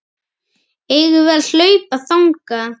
Eigum við að hlaupa þangað?